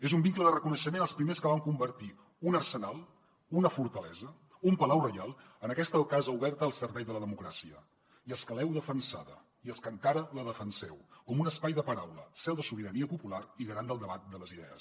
és un vincle de reconeixement als primers que van convertir un arsenal una fortalesa un palau reial en aquesta casa oberta al servei de la democràcia i els que l’heu defensada i els que encara la defenseu com un espai de paraula seu de sobirania popular i garant del debat de les idees